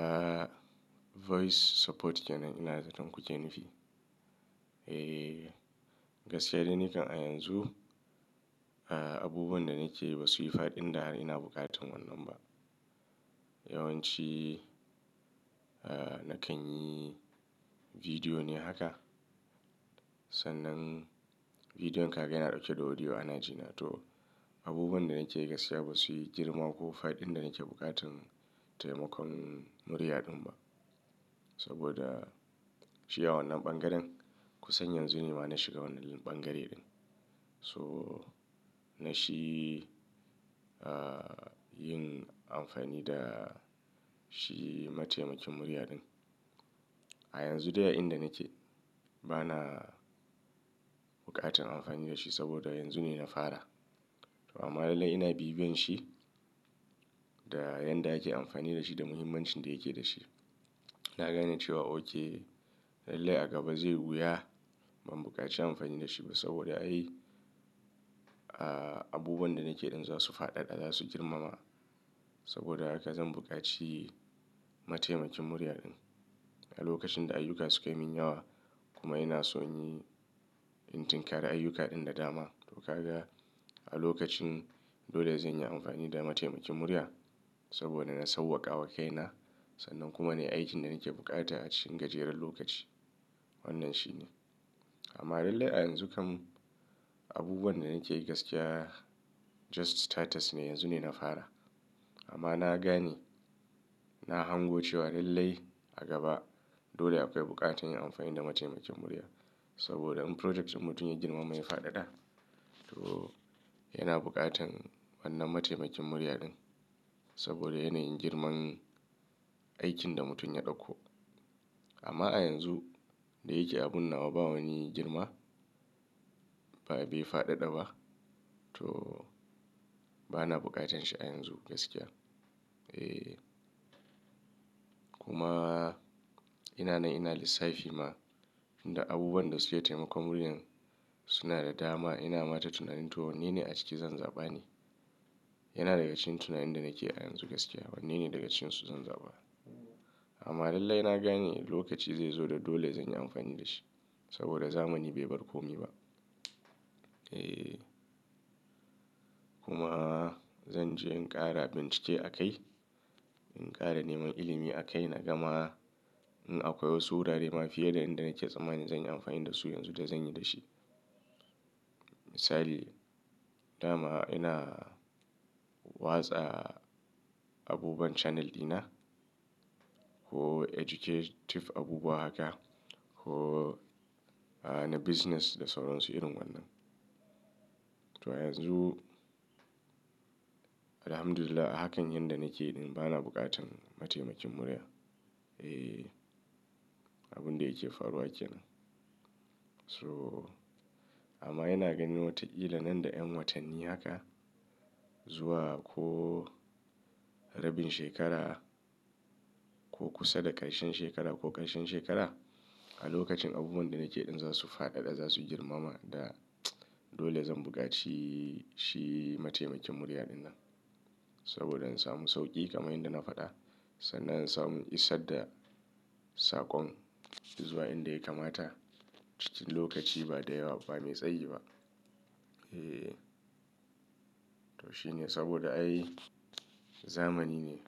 Ah, voice support kenan ina zaton ku ke nufi? Eh, gaskiya dai nikan a yanzu, ah, abubuwan da nake yi ba su yi faɗin da har ina buƙatan wannan ba. Yawanci, ah, na kan yi bidiyo ne haka. Sannan bidiyon ka ga yana ɗauke da audio ana jina to abubuwan da nake yi gaskiya ba su yi girma ko faɗin da nake buƙatan taimakon murya ɗin ba. Saboda shi a wannan ɓangaren, ku san yanzu nima na shiga wannan ɓangare ɗin. So na shi, ah, yin amfani da shi matemakin murya ɗin. A yanzu dai a inda nake bana buƙatan amfani da shi saboda yanzu ne na fara. Amma lallai ina bibiyan shi da yadda ake amfani da shi da muhimmancin da yake da shi. Na gane cewa oke dallai a gaba zai wuya ban buƙaci amfani da shi ba saboda ai, ah, abubuwan da nake yi ɗin za su faɗaɗa, za su girmama. Saboda haka zan buƙaci matemakin murya ɗin a lokacin da ayyuka su kai min yawa kuma ina so inyi, in tunka da ayyuka ɗin da dama. To kaga a lokacin dole zanyi amfani da matemakin murya saboda na sauƙaƙa wakaina. Sannan kuma ne aikin da nake bukata a cikin gajeren lokaci. Wannan shi ne. Amma lallai a yanzu kam abubuwan da nake yi gaskiya just status ne, yanzu ne na fara. Amma na gane, na hango cewa lallai a gaba dole akwai buƙatar yin amfani da matemakin murya. Saboda in project mutum ya girma ma ya faɗaɗa, to yana buƙatan wannan matemakin murya ɗin. Saboda yana yin girman aikin da mutum ya ɗauko. Amma a yanzu da yake abun nawa ba wani girma, ba bai faɗaɗa ba, to bana buƙatan shi a yanzu gaskiya. Eh, kuma ina nan ina lissafi na Tinda abubuwan da suke taimakon murya suna da dama. Ina mata tunanin to wanne ne a ciki zan zaɓa ne? Yana daga cikin tunanin da nake yi a yanzu gaskiya. Wanne ne daga cinsu zan zaɓa? Amma lallai na gane lokaci zai zo da dole zanyi amfani da shi saboda zamani bai barkomi ba. Eh, kuma zan je in ƙara bincike a kai, in ƙara neman ilimi a kai na gama in akwai wasu wurare ma fiye da inda nake tsammani zan yi amfani da su yanzu da zanyi da shi. Misali, dama ina watsa abubuwan channel ɗina ko educative abubuwa haka ko, ah, na business da sauran su irin wannan. To a yanzu, Alhamdulillah hakan yan da nake yi ɗin bana buƙatan matemakin murya. Eh, abun da yake faruwa kenan. So amma ina ganin wataƙila nan da ƴan watanni haka zuwa ko rabin shekara ko kusa da ƙarshen shekara ko ƙarshen shekara a lokacin abubuwan da nake yi ɗin za su faɗaɗa, za su girmama da dole zan buƙaci shi matemakin murya ɗinnan. Saboda in samu sauƙi kamar yadda na faɗa sannan in samu isar da saƙon zuwa inda ya kamata cikin lokaci ba da yawa ba me tsayi ba. Eh, to shine saboda ai zamani ne,